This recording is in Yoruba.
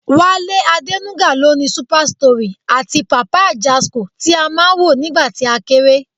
Wálé Adénúgà ló ni Super Story àti Papa Ajasco tí á máa ń wò nígbà tí a kéré